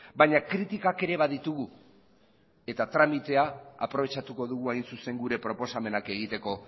baina kritikak ere baditugu eta tramitea aprobetxatuko dugu hain zuzen gure proposamenak egiteko